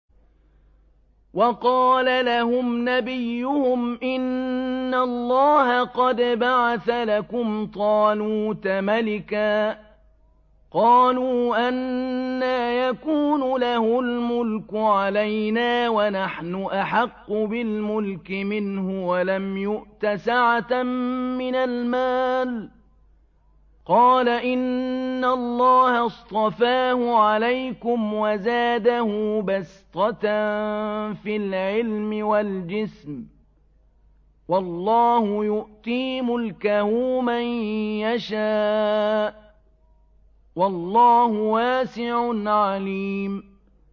وَقَالَ لَهُمْ نَبِيُّهُمْ إِنَّ اللَّهَ قَدْ بَعَثَ لَكُمْ طَالُوتَ مَلِكًا ۚ قَالُوا أَنَّىٰ يَكُونُ لَهُ الْمُلْكُ عَلَيْنَا وَنَحْنُ أَحَقُّ بِالْمُلْكِ مِنْهُ وَلَمْ يُؤْتَ سَعَةً مِّنَ الْمَالِ ۚ قَالَ إِنَّ اللَّهَ اصْطَفَاهُ عَلَيْكُمْ وَزَادَهُ بَسْطَةً فِي الْعِلْمِ وَالْجِسْمِ ۖ وَاللَّهُ يُؤْتِي مُلْكَهُ مَن يَشَاءُ ۚ وَاللَّهُ وَاسِعٌ عَلِيمٌ